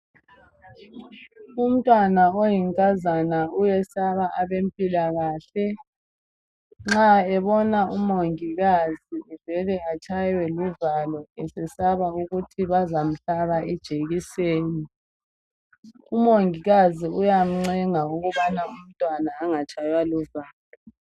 Umtwana oyinkazana uyesaba ebempilakahle nxa ebona umongikazi uvele atshaywe luvalo esesaba ukuthi bazamhlaba ijekiseni. Umongikasi uyancenga ukubana umntwana angatshaywa luvalo.